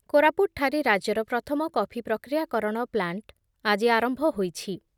କୋରାପୁଟ୍ ଠାରେ ରାଜ୍ୟର ପ୍ରଥମ କଫି ପ୍ରକ୍ରିୟା କରଣ ପ୍ଲାଣ୍ଟ ଆଜି ଆରମ୍ଭ ହୋଇଛି ।